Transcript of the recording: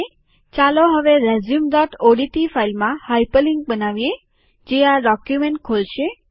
ચાલો હવે રેઝ્યુમઓડીટી ફાઈલમાં હાઇપરલિન્ક બનાવીએ જે આ ડોક્યુમેન્ટ ખોલશે